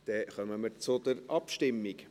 Dann kommen wir zur Abstimmung.